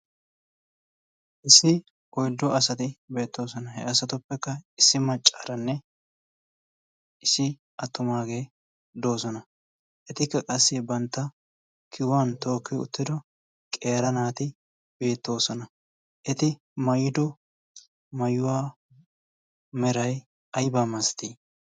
Issi oyddu asati beettoosona. He asatuppekka issi maccaaranne issi attumaagee doosona. Etikka qassi bantta kiyuwan tookki uttido qeera naati beettoosona. Eti mayido mayuwaa meray aybaa masatii?